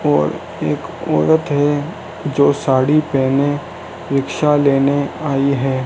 और एक औरत है जो साड़ी पहने रिक्शा लेने आई है।